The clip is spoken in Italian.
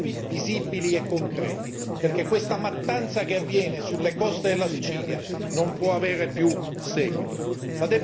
nuovi, visibili e concreti, perché questa mattanza che avviene sulle coste della Sicilia non può avere più seguito.